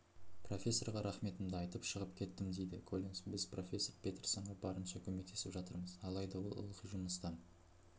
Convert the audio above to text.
профессорға рахметімді айтып шығып кеттімдейді коллинс біз профессор петерсонға барынша көмектесіп жатырмыз алайда ол ылғи жұмысты